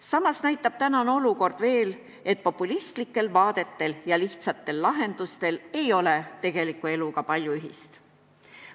Samas näitab tänane olukord, et populistlikel vaadetel ja lihtsatel lahendustel ei ole tegeliku eluga palju ühist.